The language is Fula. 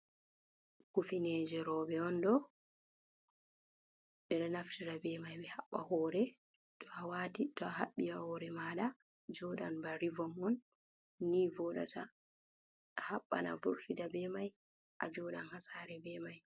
Kufineje robe ondo bedo naftira be mai behabba hore, to a wati to a habbi ya hore mada jodan ba rivon on ni vodata a habban avurtida be mai a jodan hasare be mai.